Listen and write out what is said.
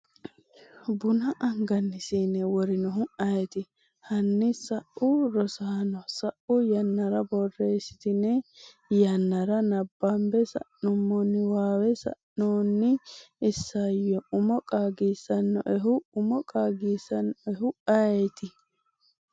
buna angani sine worinohu ayeeti? Hanni sa’u Rosaano, sa’u yannara borreessitine yannara nabbambe sa’nummo niwaawe sa’inoonni isayyo umo qaagisannoehu umo qaagisannoehu ayeeti?